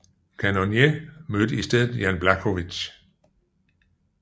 Cannonier mødte i stedet Jan Błachowicz